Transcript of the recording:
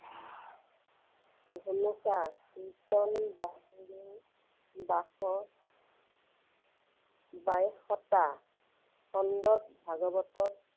ঘুনুচা কীৰ্ত্তন বাহিৰেও বাইশটা খণ্ডত ভাগৱতত